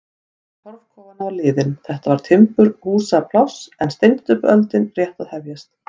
Tími torfkofanna var liðinn, þetta var timburhúsapláss en steinsteypuöldin rétt að hefjast.